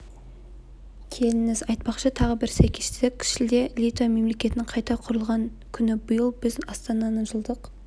келіңіз айтпақшы тағы бір сәйкестік шілде литва мемлекетінің қайта құрылған күні биыл біз астананың жылдық